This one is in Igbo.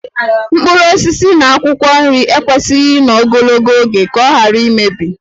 Mkpụrụ osisi na akwụkwọ nri ekwesịghị ịnọ ogologo oge ka ọ ghara imebi